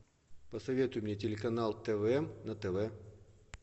посоветуй мне телеканал тв на тв